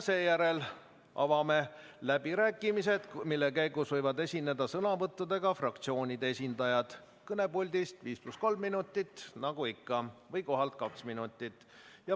Siis avame läbirääkimised, mille käigus võivad fraktsioonide esindajad esineda sõnavõtuga kõnepuldist viis pluss kolm minutit nagu ikka või kohalt kaks minutit.